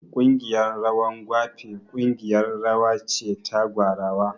Ƙungiyar rawan gwape ƙungiyar rawa ce ta gwarawa